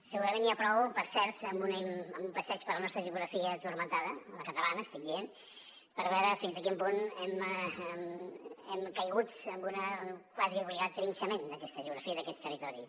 segurament n’hi ha prou per cert amb un passeig per la nostra geografia turmentada la catalana estic dient per veure fins a quin punt hem caigut en un quasi obligat trinxament d’aquesta geografia i d’aquests territoris